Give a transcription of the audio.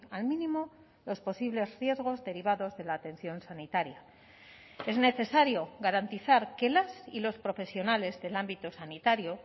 al mínimo los posibles riesgos derivados de la atención sanitaria es necesario garantizar que las y los profesionales del ámbito sanitario